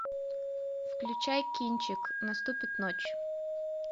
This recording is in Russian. включай кинчик наступит ночь